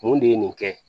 Mun de ye nin kɛ